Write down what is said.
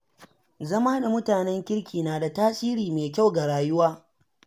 Zama da mutanen kirki na da tasiri mai kyau ga rayuwa.